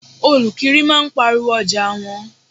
Olukiri máa ń pariwo ọjà wọn.